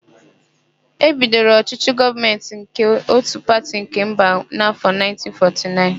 E bidoro ọchỊchỊ gọọmentị nke ótù pati nke mba n'áfọ 1949.